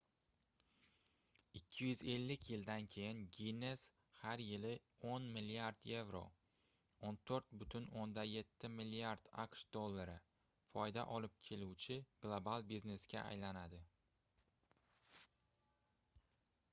250 yildan keyin ginnes har yili 10 milliard yevro 14,7 milliard aqsh dollari foyda olib keluvchi global biznesga aylandi